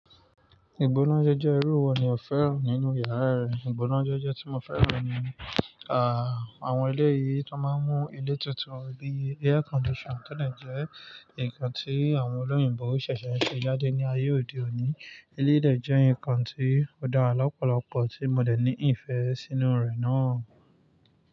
Ìgbónájẹ́ jẹ́ irú wo ni o fẹ́ràn nínú yàrá rẹ? Ìgbónájẹ́ jẹ́ tí mo fẹ́ràn ni, ahh àwọn eleyìí tó máa ń mú ilé tutu bi air condition tó dè jẹ́ nǹkan tí àwọn olóyìnbo ṣẹ̀ṣẹ̀ ṣe jáde ní ayé òde òní. Eleyii dẹ̀ jẹ́ nǹkan tí ó dára lọ́pọ̀lọpọ̀ tí mo dè ní ìfẹ́ sínú rẹ̀ náà.